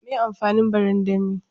Me amfanin barandami?